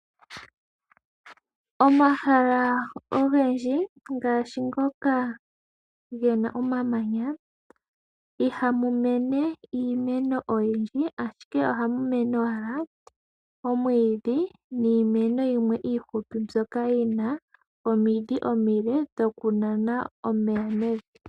Omahala ogendji ngaashi ngoka ge na omamanya, ihamu mene iimeno oyindji, ashike ohamu mene owala omwiidhi niimeno yimwe iifupi mbyoka yi na omidhi omile dhokunana omeya mevi.